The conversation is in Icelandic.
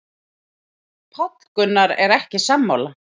Páll Gunnar er ekki sammála.